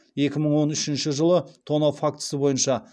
екі мың он үшінші жылы тонау фактісі бойынша